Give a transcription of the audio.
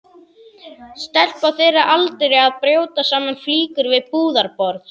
Stelpa á þeirra aldri að brjóta saman flíkur við búðarborð.